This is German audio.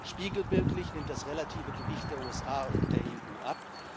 Spiegelbildlich nimmt das relative Gewicht der USA und der EU ab.